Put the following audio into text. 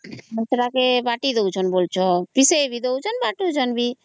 ମସଲା କେ ବାଟିଦେଉଛନ୍ତ ବୋଲାଉଚ ପିସେଇ ବି ବାଟୁଛନ ବି